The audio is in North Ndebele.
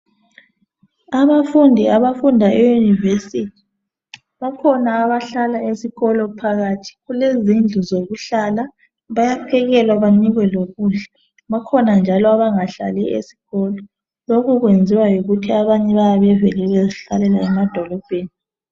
Abafundi abafunda e university bakhona abafundi abahlala esikolo phakathi kulezindlu zokuhlala bayaphekelwa benikwe lokudla bakhona njalo abangahlali esikolo lokuyenziwa yikuthi abanye vele bayabe bevele bezihlalela emadolobheni